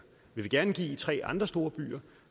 vi vil gerne give de tre andre store byer